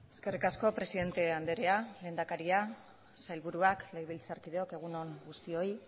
eskerrik asko presidente andrea lehendakaria sailburuak legebiltzarkideok egun on guztioi